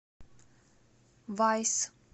вайс